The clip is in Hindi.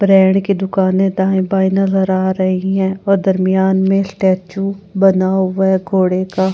ब्रांड की दुकानें दाएं बाएं नजर आ रही हैं और दरमियान में स्टैचू बना हुआ है घोड़े का --